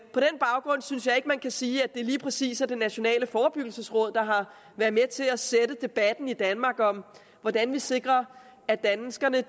på den baggrund synes jeg ikke man kan sige at det lige præcis er det nationale forebyggelsesråd der har været med til at sætte debatten i danmark om hvordan vi sikrer at danskerne